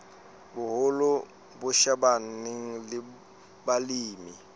boholo bo shebaneng le balemi